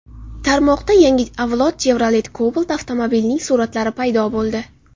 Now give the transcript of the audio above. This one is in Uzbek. Tarmoqda yangi avlod Chevrolet Cobalt avtomobilining suratlari paydo bo‘ldi.